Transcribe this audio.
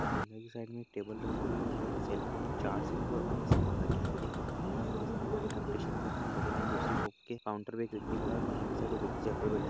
अंदर की साइड में एक टेबल रखी हुई है तथा सेलफोन चार्जर व अन्य सामान रखे है एक व्यक्ति खड़ा है जिसने व्हाइट हाफ टी-शर्ट पहना है बगल में दूसरे शॉप के काउंटर पर एक व्यक्ति खड़ा है बाहर की साइड पे एक व्यक्ति चेयर पर बैठा है।